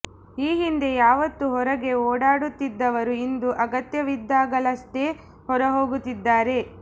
ಈ ಹಿಂದೆ ಯಾವತ್ತೂ ಹೊರಗೆ ಓಡಾಡುತ್ತಿದ್ದವರು ಇಂದು ಅಗತ್ಯವಿದ್ದಾಗಲಷ್ಟೇ ಹೊರ ಹೋಗುತ್ತಿದ್ದಾರೆ